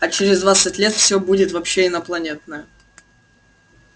а через двадцать лет все будет вообще инопланетное